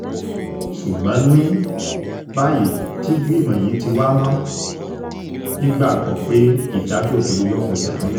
ṣùgbọ́n ní báyìí tígbìmọ̀ yìí ti wá mọ́ nígbàgbọ́ pé ìdájọ́ òdodo yóò fẹsẹ̀ múlẹ̀